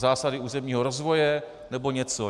Zásady územního rozvoje nebo něco?